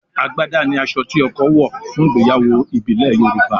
àgbàdá ni aṣọ tí ọkọ wọ̀ fún ìgbéyàwó ìbílẹ̀ Yorùbá